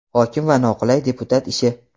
Hokim va noqulay deputat ishi.